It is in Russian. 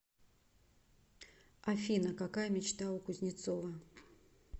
афина какая мечта у кузнецова